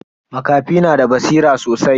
Makafi na da basira sosai.